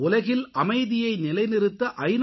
உலகில் அமைதியை நிலைநிறுத்த ஐ